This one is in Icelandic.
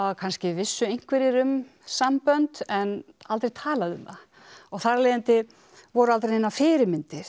kannski vissu einhverjir um sambönd en aldrei talað um það þar af leiðandi voru aldrei neinar fyrirmyndir